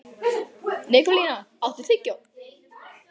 Nikólína, áttu tyggjó?